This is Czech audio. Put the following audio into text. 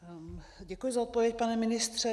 Děkuji za odpověď, pane ministře.